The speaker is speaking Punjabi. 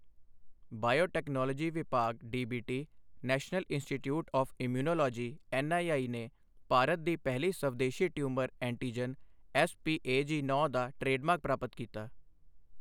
ਬਾਇਓਟੈਕਨੋਲੋਜੀ ਵਿਭਾਗ DBT national institute of immunology NII ਨੇ ਭਾਰਤ ਦੀ ਪਹਿਲੀ ਸਵਦੇਸ਼ੀ ਟਿਊਮਰ ਐਂਟੀਜਨ ਐੱਸਪੀਏਜੀ9 ਦਾ ਟ੍ਰੇਡਮਾਰਕ ਪ੍ਰਾਪਤ ਕੀਤਾ